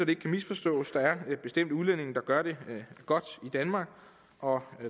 ikke kan misforstås der er bestemt udlændinge der gør det godt i danmark og